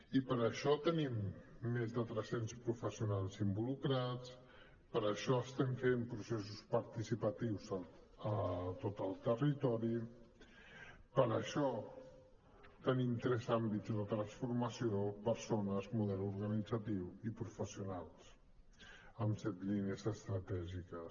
i per això tenim més de tres cents professionals involucrats per això estem fent processos participatius a tot el territori per això tenim tres àmbits de transformació persones model organitzatiu i professionals amb set línies estratègiques